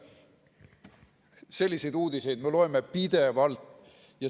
Selliseid uudiseid me loeme pidevalt.